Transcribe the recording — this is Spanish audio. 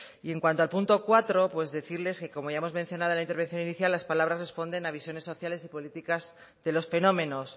y en cuanto al punto cuatro pues decirles que como ya hemos mencionado en la intervención inicial las palabras responden a visiones sociales y políticas de los fenómenos